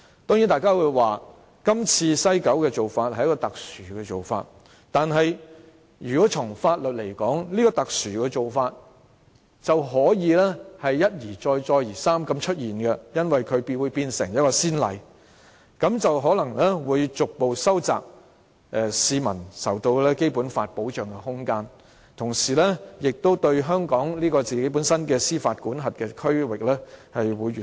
當然，大家會說，今次西九龍口岸區的做法是特殊做法，但如果從法律來說，這種特殊做法便可以一而再，再而三地出現，因為這做法會成為先例，這樣可能會逐步收窄市民受到《基本法》保障的空間，同時令香港本身的司法管轄區域越縮越小。